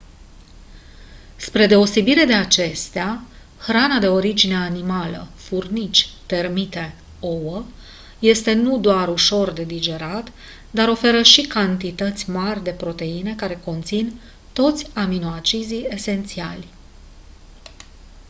spre deosebire de acestea hrana de origine animală furnici termite ouă este nu doar ușor de digerat dar oferă și cantități mari de proteine care conțin toți aminoacizii esențiali